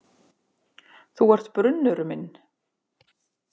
Þú ert brunnur minn.